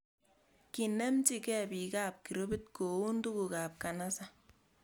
Kinemchi ke bik ab grupi koun tuguk ab kanisa